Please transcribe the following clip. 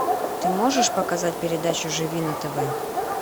ты можешь показать передачу живи на тв